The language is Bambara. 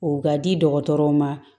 O ka di dɔgɔtɔrɔw ma